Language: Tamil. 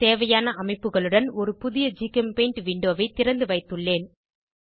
தேவையான அமைப்புகளுடன் ஒரு புதிய ஜிகெம்பெய்ண்ட் விண்டோவை திறந்துவைத்துள்ளேன்